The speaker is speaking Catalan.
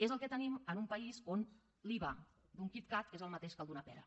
és el que tenim en un país on l’iva d’un kit kat és el mateix que el d’una pera